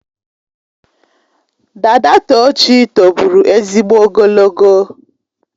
Dada Tochi tobụrụ ezigbo ogologo.